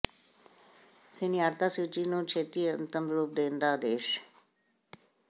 ਸੀਨੀਆਰਤਾ ਸੂਚੀ ਨੂੰ ਛੇਤੀ ਅੰਤਮ ਰੂਪ ਦੇਣ ਦਾ ਆਦੇਸ਼